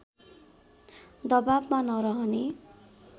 दवाबमा नरहने